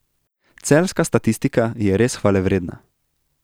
Celjska statistika je res hvalevredna.